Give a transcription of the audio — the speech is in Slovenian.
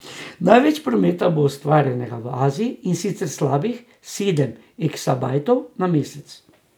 Največ prometa bo ustvarjenega v Aziji, in sicer slabih sedem eksabajtov na mesec.